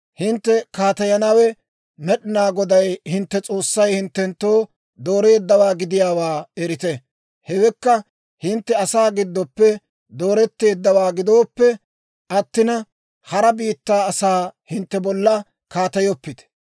hintte kaateyanawe Med'inaa Goday hintte S'oossay hinttenttoo dooreeddawaa gidiyaawaa erite. Hewekka hintte asaa giddoppe dooretteeddawaa gidoppe attina, hara biittaa asaa hintte bolla kaateyoppite.